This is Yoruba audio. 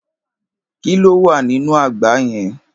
Kí ló wà nínú àgbá yẹn.